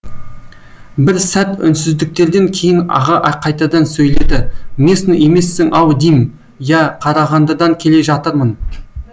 бір сәт үнсіздіктерден кейін аға қайтадан сөйледі местный емессің ау дим иә қарағандыдан келе жатырмын